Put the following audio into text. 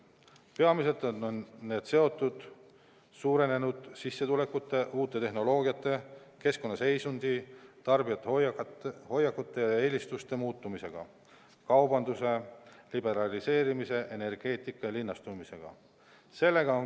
Peamiselt on need seotud suurenenud sissetulekute, uute tehnoloogiate, keskkonna seisundi, tarbijate hoiakute ja eelistuste muutumisega, kaubanduse liberaliseerimise, energeetika ja linnastumisega.